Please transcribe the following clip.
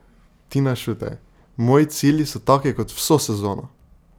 Tina Šutej: "Moji cilji so taki kot vso sezono.